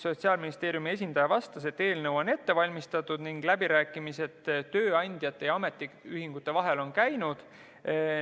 Sotsiaalministeeriumi esindaja vastas, et eelnõu on ette valmistatud ning läbirääkimised tööandjate ja ametiühingute vahel on toimunud.